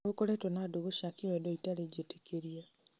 nĩgũkoretwo na ndũgũ cia kĩwendo itarĩ njĩtĩkĩrie